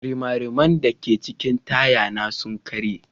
Rimariman da ke cikin taya na sun karye.